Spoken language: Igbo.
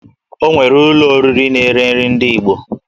O nwere ụlọ oriri na-ere nri ndị Igbo